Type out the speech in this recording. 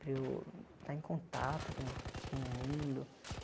para eu estar em contato com com o mundo.